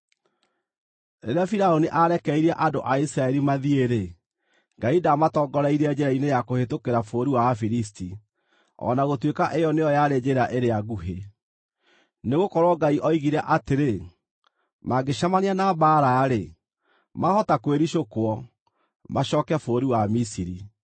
Rĩrĩa Firaũni aarekereirie andũ a Isiraeli mathiĩ-rĩ, Ngai ndaamatongoreirie njĩra-inĩ ya kũhĩtũkĩra bũrũri wa Afilisti, o na gũtuĩka ĩyo nĩyo yarĩ njĩra ĩrĩa nguhĩ. Nĩgũkorwo Ngai oigire atĩrĩ, “Mangĩcemania na mbaara-rĩ, maahota kwĩricũkwo, macooke bũrũri wa Misiri.”